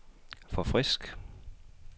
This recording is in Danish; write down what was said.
forfrisk